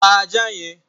Pa ajá yẹn!